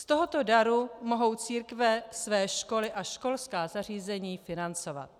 Z tohoto daru mohou církve své školy a školská zařízení financovat.